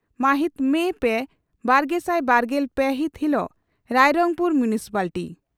ᱢᱟᱦᱤᱛ ᱯᱮ ᱢᱮ ᱵᱟᱨᱜᱮᱥᱟᱭ ᱵᱟᱨᱜᱮᱞ ᱯᱮ ᱦᱤᱛ ᱦᱤᱞᱚᱜ ᱨᱟᱭᱨᱚᱝᱯᱩᱨ ᱢᱩᱱᱥᱤᱯᱟᱞᱴᱤ